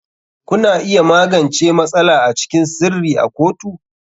Kuna iya magance matsala a cikin sirri a kotu.